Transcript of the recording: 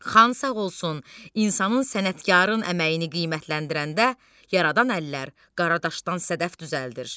Xan sağ olsun, insanın sənətkarın əməyini qiymətləndirəndə yaradan əllər qaradaşdan sədəf düzəldir.